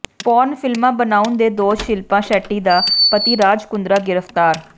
porn ਫਿਲਮਾਂ ਬਣਾਉਣ ਦੇ ਦੋਸ਼ ਸ਼ਿਲਪਾ ਸ਼ੈੱਟੀ ਦਾ ਪਤੀ ਰਾਜ ਕੁੰਦਰਾ ਗ੍ਰਿਫ਼ਤਾਰ